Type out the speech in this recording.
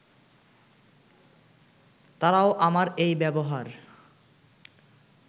তারাও আমার এই ব্যবহার